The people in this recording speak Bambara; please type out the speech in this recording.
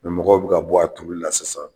mɔgɔw bɛ ka bɔ a turuli la sisan